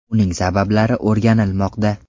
Uning sabablari o‘rganilmoqda.